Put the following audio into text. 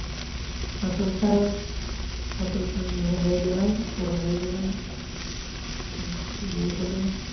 সতেরো সাল বড় হয়ে গেলাম । বিয়ে হল।